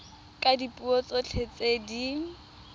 ka dipuo tsotlhe tse di